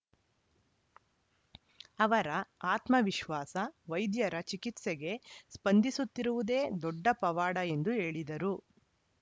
ಅವರ ಆತ್ಮವಿಶ್ವಾಸ ವೈದ್ಯರ ಚಿಕಿತ್ಸೆಗೆ ಸ್ಪಂದಿಸುತ್ತಿರುವುದೇ ದೊಡ್ಡ ಪವಾಡ ಎಂದು ಹೇಳಿದರು